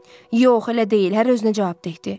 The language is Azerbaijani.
Yox, elə deyil, hər özünə cavabdehdi.